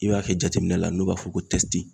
I b'a kɛ jateminɛ la n'u b'a fɔ ko tɛsti.